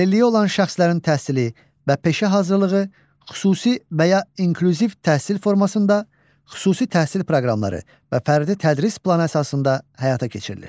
Əlilliyi olan şəxslərin təhsili və peşə hazırlığı xüsusi və ya inklüziv təhsil formasında, xüsusi təhsil proqramları və fərdi tədris planı əsasında həyata keçirilir.